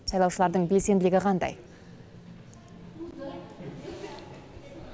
сайлаушылардың белсенділігі қандай